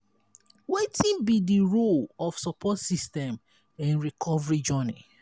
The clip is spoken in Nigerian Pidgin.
wetin be di role of support system in recovery journey?